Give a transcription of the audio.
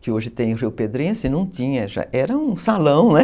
que hoje tem o Rio Pedrense, não tinha, já era um salão, né?